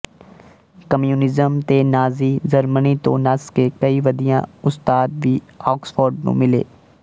communism ਤੇ Nazi Germany ਤੋਂ ਨੱਸ ਕੇ ਕਈ ਵਧੀਆ ਉਸਤਾਦ ਵੀ ਆਕਸਫ਼ੋਰਡ ਨੂੰ ਮਿਲੇ